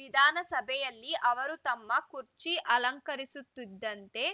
ವಿಧಾನಸಭೆಯಲ್ಲಿ ಅವರು ತಮ್ಮ ಕುರ್ಚಿ ಅಲಂಕರಿಸುತ್ತಿದ್ದಂತೆ